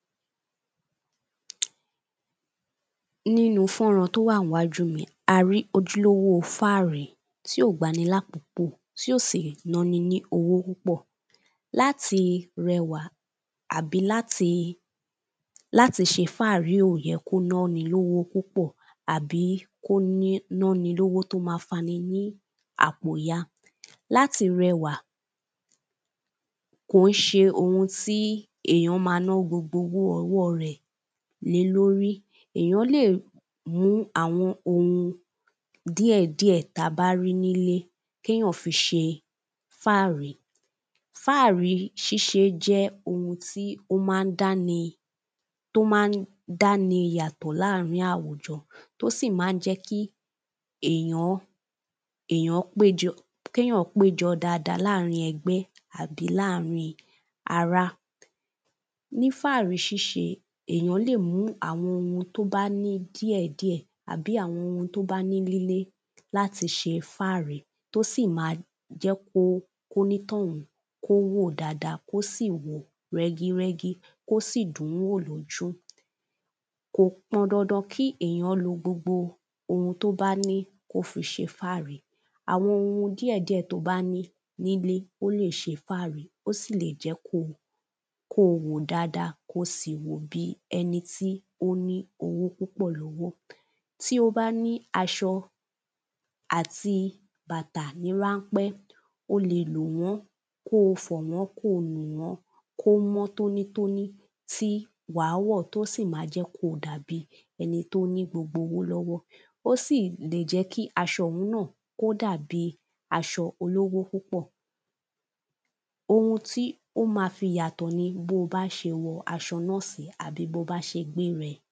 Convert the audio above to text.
nínú fọ́nrań tó wà ń wájú mi yìí a rí ojúlówó fáàrí tí ò gba ni lákókò tí ò sì ná ni ní owó púpọ̀ láti rẹwà àbí láti ṣe fáàrí ò yẹ kó ná ni lówó púpọ̀ àbí kó ní ná ni lówó tó ma fa ní àpò ya láti rẹwà kò ń ṣe ohun tí èyàn ma ná gbogbo owó rẹ̀ lé lórí èyàn lè mú àwọn ohun díẹ̀ díẹ̀ ta bá rí nílé kéyaǹ fi ṣe fáàrí fáàrí fáàrí ṣíṣe jẹ́ ohun tí ó má dá ni tó má n dá ni yàtọ̀ láàrín àwùjọ tó sì ma ń jẹ́ kí èyàn èyàn péjọ kéyaǹ péjọ dada láàrín ẹgbẹ́ àbí láàrín ará ní fáàrí ṣíṣe èyàn lè mú àwọn ohun tó bá ní díẹ̀ díẹ̀ àbí àwọn ohun tó bá ní nílé láti ṣe fáàrí tó sì ma jẹ́ kó kó ní tọ̀hún kó wò dada kó sì wo rẹ́gí rẹ́gí kó sì dùn wò lójú kò pọn dandan kí èyàn lo gbogbo ohun tó bá ní kó fi ṣe fáàrí àwọn ohun díẹ̀ díẹ̀ to bá ní nílé ó lè ṣe fáàrí ó sì lè jẹ́ ko ko wò dada ko sì wò bi ẹni tí ó ní owó púpọ̀ lọ́wọ́ tí ó bá ni aṣọ àti bàtà ní ránpẹ́ o lè lò wọ́n kó fọ̀ wọ́n kó nù wọ́n kó mọ́ tónítóní tí wàá wọ̀ tó sì ma jẹ́ ko dàbi ẹni tó ní gbogbo owó lọ́wọ́ ó sì lè jẹ́ kí aṣọ ọ̀hun náà kó dàbi aṣọ olówó púpọ̀ ohun tí ó ma fi yàtọ̀ ni bóo bá ṣe wọ aṣọ náà sí àbí bo bá ṣe gbé rẹ̀ẹ